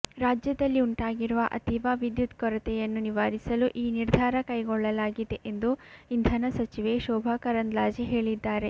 ರಾಜ್ಯದಲ್ಲಿ ಉಂಟಾಗಿರುವ ಅತೀವ ವಿದ್ಯುತ್ ಕೊರತೆಯನ್ನು ನಿವಾರಿಸಲು ಈ ನಿರ್ಧಾರ ಕೈಗೊಳ್ಳಲಾಗಿದೆ ಎಂದು ಇಂಧನ ಸಚಿವೆ ಶೋಭಾ ಕರಂದ್ಲಾಜೆ ಹೇಳಿದ್ದಾರೆ